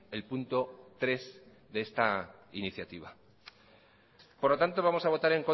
el punto tres de esta iniciativa por lo tanto vamos a votar